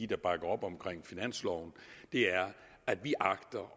der bakker op om finansloven er at vi agter